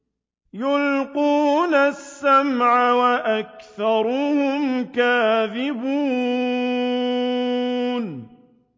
يُلْقُونَ السَّمْعَ وَأَكْثَرُهُمْ كَاذِبُونَ